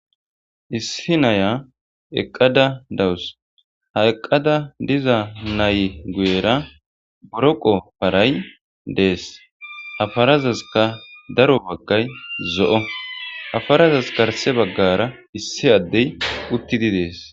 Issi na'ya eqqada dawusu ha eqqada diiza nayyi guyyera booroqqo paray dessi ha paarasikka daaro baggay zo'o ha paarazasi garsse baggara issi adey uttidi dessi.